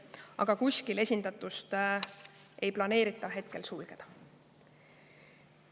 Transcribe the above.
Aga kuskil esindatust ei planeerita hetkel sulgeda.